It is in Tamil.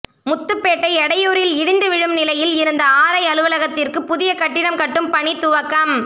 முத்துப்பேட்டை எடையூரில் இடிந்து விழும் நிலையில் இருந்த ஆர்ஐ அலுவலகத்திற்கு புதிய கட்டிடம் கட்டும் பணி துவக்கம்